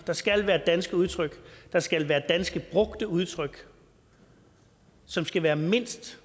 der skal være danske udtryk der skal være danske brugte udtryk som skal være mindst